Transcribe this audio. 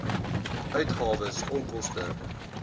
uitgawes onkoste t